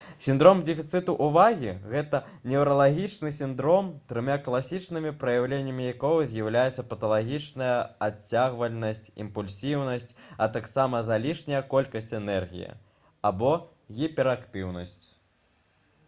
сіндром дэфіцыту ўвагі — гэта «неўралагічны сіндром трыма класічнымі праяўленнямі якога з'яўляюцца паталагічная адцягвальнасць імпульсіўнасць а таксама залішняя колькасць энергіі або гіперактыўнасць»